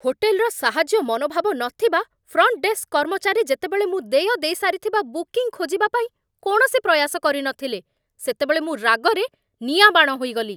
ହୋଟେଲ୍‌ର ସାହାଯ୍ୟ ମନୋଭାବ ନଥିବା ଫ୍ରଣ୍ଟ ଡେସ୍କ କର୍ମଚାରୀ ଯେତେବେଳେ ମୁଁ ଦେୟ ଦେଇସାରିଥିବା ବୁକିଂ ଖୋଜିବାପାଇଁ କୌଣସି ପ୍ରୟାସ କରିନଥିଲେ, ସେତେବେଳେ ମୁଁ ରାଗରେ ନିଆଁବାଣ ହୋଇଗଲି।